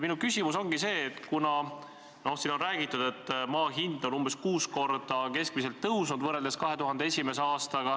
Siin on räägitud, et maa hind on võrreldes 2001. aastaga keskmiselt kuus korda tõusnud.